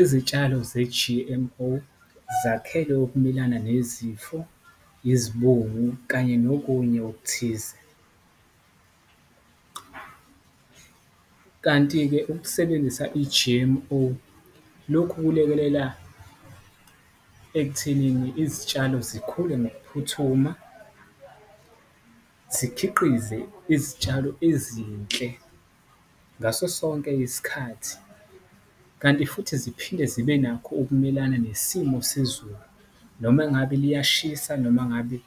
Izitshalo ze-G_M_O zakhelwe ukumelana nezifo, izibungu kanye nokunye okuthize , kanti-ke ukusebenzisa i-G_M_O lokhu kulekelela ekuthenini izitshalo zikhule ngokuphuthuma, zikhiqize izitshalo ezinhle ngaso sonke isikhathi. Kanti futhi ziphinde zibe nakho ukumelana nesimo sezulu noma engabe liyashisa noma ngabe